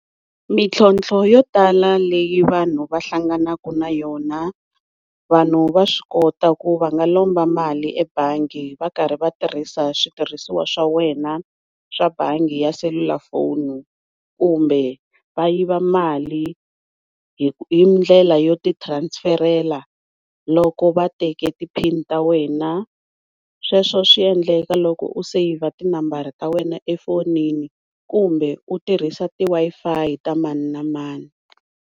Mitlhotlho yo tala leyi vanhu va hlanganaka na yona, vanhu va swi kota ku va nga lomba mali ebangi va karhi va tirhisa switirhisiwa swa wena swa bangi ya selulafoni, kumbe va yiva mali hindlela yo ti transferela loko va teke ti pin ta wena, sweswo swi endleka loko u saver tinambara ta wena efoyinini kumbe u tirhisa ti-Wi-Fi ta mani na mani.